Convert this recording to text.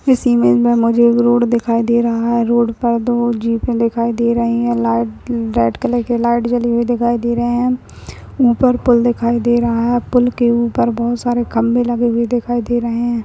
इस इमेज में मुझे एक रोड दिखाई दे रहा है रोड पर दो जीपे दिखाई दे रही है लाइट रेड कलर की लाइट जली हुई दिखाई दे रही है उपर पूल दिखाई दे रहा है पूल के उपर बहुत सारे खंबे लगे हुए दिखाई दे रहे है।